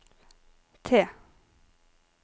T